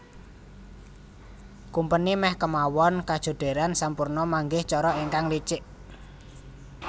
Kumpeni meh kemawon kajodheran sampuna manggih cara ingkang licik